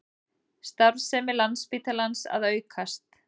Starfsemi Landspítalans að aukast